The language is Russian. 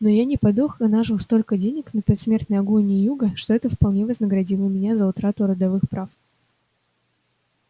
но я не подох и нажил столько денег на предсмертной агонии юга что это вполне вознаградило меня за утрату родовых прав